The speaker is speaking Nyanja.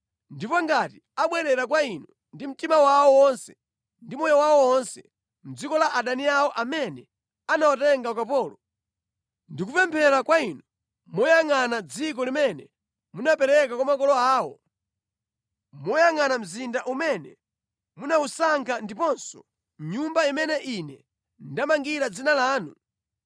ndipo ngati abwerera kwa Inu ndi mtima wawo wonse ndi moyo wawo wonse mʼdziko la adani awo amene anawatenga ukapolo, ndi kupemphera kwa Inu moyangʼana dziko limene munapereka kwa makolo awo, moyangʼana mzinda umene munawusankha ndiponso Nyumba imene ine ndamangira Dzina lanu,